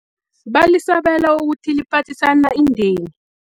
Balisabela ukuthi liphathisana indeni.